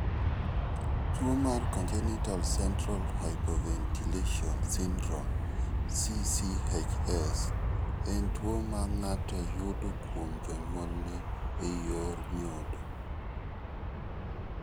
Tuo mar Congenital central hypoventilation syndrome (CCHS) en tuo ma ng�ato yudo kuom jonyuolne e yor nyodo.